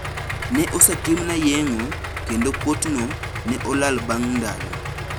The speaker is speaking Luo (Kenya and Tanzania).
Ne osetimna yeng`o kendo kuotno ne olal bang` ndalo.